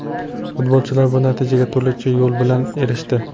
Futbolchilar bu natijaga turlicha yo‘l bilan erishdi.